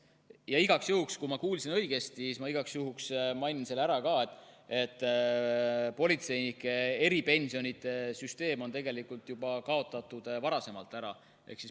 Ma ei tea, kas ma kuulsin õigesti, aga ma igaks juhuks mainin ära selle, et politseinike eripensionide süsteem on tegelikult juba varasemalt ära kaotatud.